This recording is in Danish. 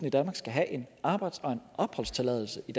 i danmark skal have en arbejds og en opholdstilladelse i